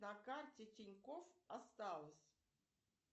на карте тинькофф осталось